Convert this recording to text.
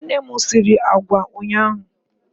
Nne m sịrị àgwà ụnyaahụ.